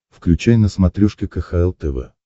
включай на смотрешке кхл тв